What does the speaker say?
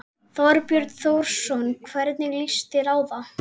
Þorbjörn Þórðarson: Hvernig líst þér á það?